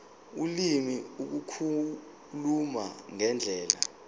ulimi ukukhuluma ngendlela